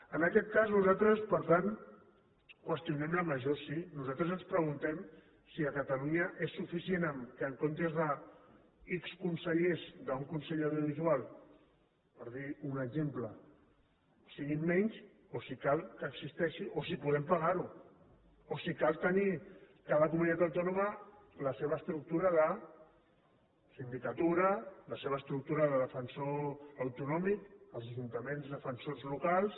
en aquest cas nosaltres per tant qüestionem la major sí nosaltres ens preguntem si a catalunya és suficient que en comptes d’ics consellers d’un consell de l’audiovisual per dir un exemple siguin menys o si cal que existeixi o si podem pagar ho o si cal tenir cada comunitat autònoma la seva estructura de sindicatura la seva estructura de defensor autonòmic als ajuntaments defensors locals